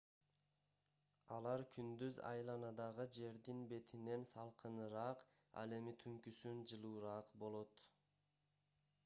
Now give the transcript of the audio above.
алар күндүз айланадагы жердин бетинен салкыныраак ал эми түнкүсүн жылуураак болот